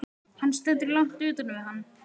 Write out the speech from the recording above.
Hann stendur langt utan við hann.